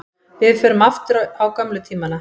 Við förum aftur á gömlu tímana.